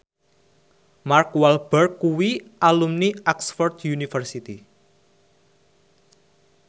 Mark Walberg kuwi alumni Oxford university